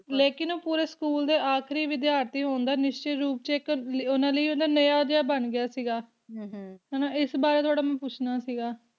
ਪੂਰੇ ਸਕੂਲ ਦੇ ਵਿਚ ਆਖਰੀ ਵਿਦਿਆਰਥੀ ਹੋਣ ਦਾ ਇਨ੍ਹਾਂ ਲਈ ਨਵੀਆਂ ਉਹ ਬਣ ਗਿਆ ਸੀਇਸ ਬਾਰੇ ਮੈਂ ਥੋੜ੍ਹਾ ਜਿਹਾ ਪੁੱਛਣਾ ਸੀ ਦਾ